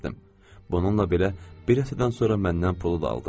Bununla belə, bir həftədən sonra məndən pulu da aldı.